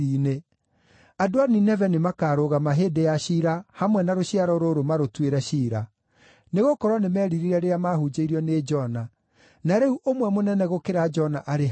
Andũ a Nineve nĩmakarũgama hĩndĩ ya ciira hamwe na rũciaro rũrũ marũtuĩre ciira; nĩgũkorwo nĩmeririre rĩrĩa maahunjĩirio nĩ Jona, na rĩu ũmwe mũnene gũkĩra Jona arĩ haha.